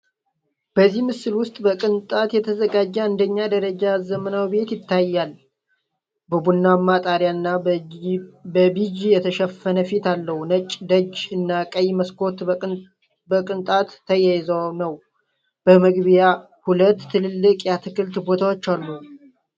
በዚህ ምስል ውስጥ በቅንጣት የተዘጋጀ አንደኛ ደረጃ ዘመናዊ ቤት ታይቷል። በቡናማ ጣሪያ እና በቢጅ የተሸፈነ ፊት አለው፣ ነጭ ደጅ እና ቀይ መስኮቶች በቅንጣት ተያይዞ ነው። በመግቢያ ሁለት ትልቅ የአትክልት ቦታዎች አሉ።